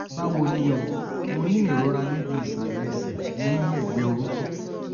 báwo ni o? mo ní ìrora níbi ìsàlẹ̀ ẹsẹ̀ ní ẹ̀gbẹ́ orúnkún